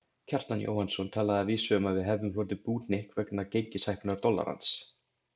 Kjartan Jóhannsson talaði að vísu um að við hefðum hlotið búhnykk vegna gengishækkunar dollarans.